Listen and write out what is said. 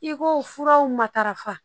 I ko furaw matarafa